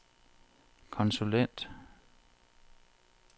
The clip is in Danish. konsulent